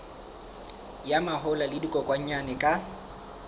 ya mahola le dikokwanyana ka